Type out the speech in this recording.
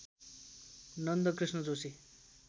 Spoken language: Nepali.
नन्दकृष्ण जोशी